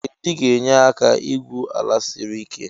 Ee diga na enye aka igwụ sla siri ike